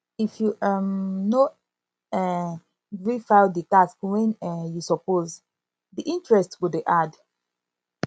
if you um no um gree file di tax when um you suppose di interest go dey add